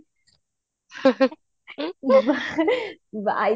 by the